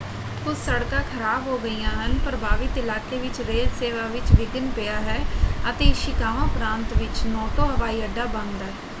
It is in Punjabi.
ਕੁਝ ਸੜਕਾਂ ਖ਼ਰਾਬ ਹੋ ਗਈਆਂ ਹਨ ਪ੍ਰਭਾਵਿਤ ਇਲਾਕੇ ਵਿੱਚ ਰੇਲ ਸੇਵਾ ਵਿੱਚ ਵਿਘਨ ਪਿਆ ਹੈ ਅਤੇ ਇਸ਼ੀਕਾਵਾ ਪ੍ਰਾਂਤ ਵਿੱਚ ਨੋਟੋ ਹਵਾਈ ਅੱਡਾ ਬੰਦ ਹੈ।